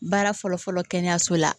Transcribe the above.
Baara fɔlɔ-fɔlɔ kɛnɛyaso la